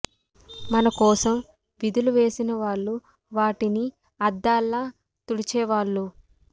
మన కోసం వీధులు వేసిన వాళ్ళు వాటిని అద్దాల్లా తుడిచే వాళ్ళు